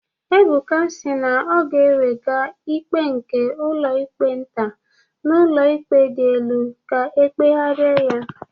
Ebuka si na ọ ga-ewega ikpe nke ụlọikpe nta n'ụlọikpe dị elu ka ekpegharị ya